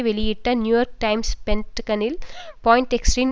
வெளியிட்ட New York Times பென்டகனில் பாயின்டெக்ஸ்டரின்